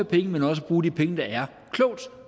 penge men også bruger de penge der er klogt